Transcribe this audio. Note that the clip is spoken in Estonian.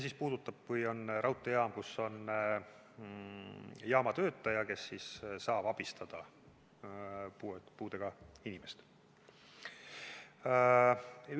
See puudutab seda, kui on raudteejaam, kus on jaamatöötaja, kes saab puudega inimest abistada.